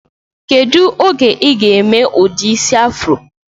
Kedu oge iga eme udi isi afro?